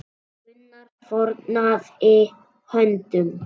Gunnar fórnaði höndum.